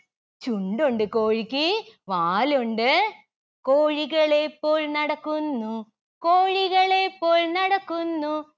ചുണ്ടുണ്ട് കോഴിക്ക് വാലുണ്ട്. കോഴികളെ പോൽ നടക്കുന്നു കോഴികളെ പൊൽ നടക്കുന്നു